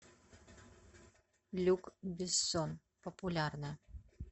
люк бессон популярное